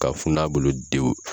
K'a fun'a bolo dewu